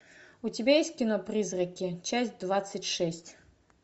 у тебя есть кино призраки часть двадцать шесть